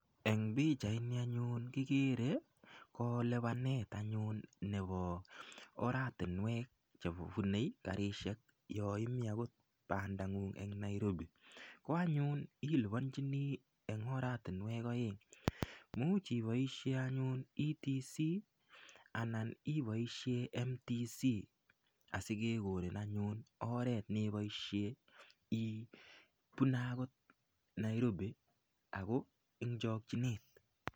En pichaini anyun kigere ko lipanet anyun nebo oratinwek Che kibune karisiek yon imiten anyun okot en Nairobi ko anyun iliponjini en oratinwek aeng Imuch iboisien anyun etc anan iboisien mtc asi kekonin anyun oret neboisien ibune akot Nairobi ako en chokyinet